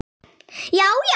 Já já!